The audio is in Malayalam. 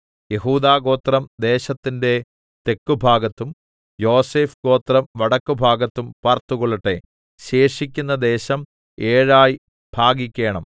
യെഹൂദാഗോത്രം ദേശത്തിന്റെ തെക്കുഭാഗത്തും യോസേഫ് ഗോത്രം വടക്കു ഭാഗത്തും പാർത്തുകൊള്ളട്ടെ ശേഷിക്കുന്ന ദേശം ഏഴായി ഭാഗിക്കേണം